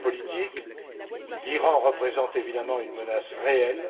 vue géopolitique, l'Iran représente évidemment une menace réelle.